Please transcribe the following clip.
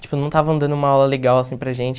Tipo, não estavam dando uma aula legal, assim, para gente.